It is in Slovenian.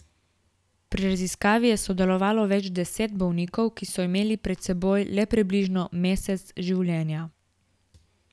Pri raziskavi je sodelovalo več deset bolnikov, ki so imeli pred seboj le približno mesec življenja.